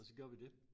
Og så gjorde vi dét